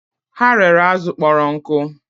Ha rere azụ kpọrọ nkụ